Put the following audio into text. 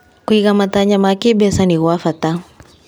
Kũiga matanya ma kĩmbeca nĩ gwa bata.